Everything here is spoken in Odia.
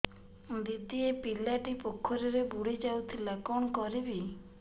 ଦିଦି ଏ ପିଲାଟି ପୋଖରୀରେ ବୁଡ଼ି ଯାଉଥିଲା କଣ କରିବି